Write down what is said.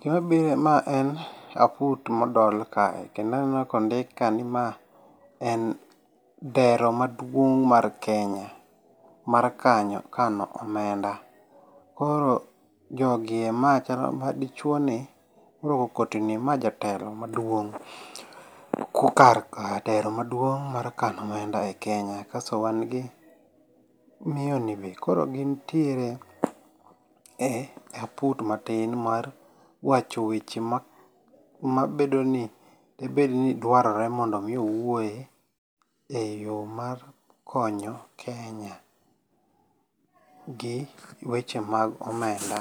Gima biro ma en, aput modol kae. Kendo aneno kondik ka ni ma en dhero maduong' mar Kenya, mar kano omenda. Koro jogi e, ma chalo madichuo ni morwako koti ni ma jatelo maduong'. Kokar ka telo maduong' mar kano omenda e Kenya. Kasto wan gi miyo ni be. Koro gintiere e aput matin mar wacho weche ma mabedo ni, debed ni dwarore mondo mi owuoye e yo mar konyo Kenya gi weche mag omenda